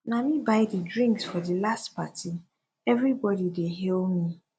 na me buy di drinks for di last party everybody dey hail me